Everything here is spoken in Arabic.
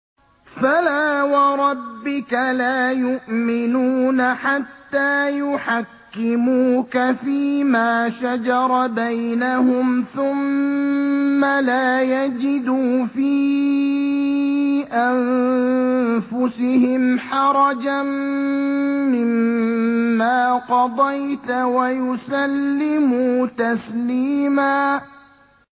فَلَا وَرَبِّكَ لَا يُؤْمِنُونَ حَتَّىٰ يُحَكِّمُوكَ فِيمَا شَجَرَ بَيْنَهُمْ ثُمَّ لَا يَجِدُوا فِي أَنفُسِهِمْ حَرَجًا مِّمَّا قَضَيْتَ وَيُسَلِّمُوا تَسْلِيمًا